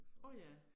Åh ja